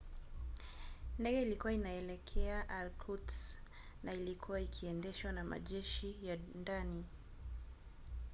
ndege ilikuwa inaelekea irkutsk na ilikuwa ikiendeshwa na majeshi ya ndani